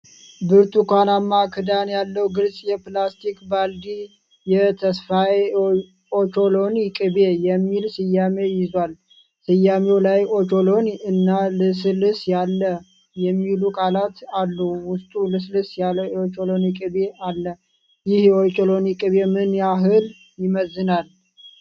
ብርቱካናማ ክዳን ያለው ግልጽ የፕላስቲክ ባልዲ የ"ተስፋዬ የኦቾሎኒ ቅቤ" የሚል ስያሜ ይዟል። ስያሜው ላይ ኦቾሎኒ እና "ልስልስ ያለ" የሚሉ ቃላት አሉ፣ ውስጡ ልስልስ ያለ የኦቾሎኒ ቅቤ አለ። ይህ የኦቾሎኒ ቅቤ ምን ያህል ይመዝናል?